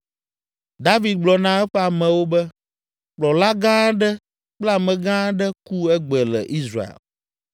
David gblɔ na eƒe amewo be, “Kplɔla gã aɖe kple amegã aɖe ku egbe le Israel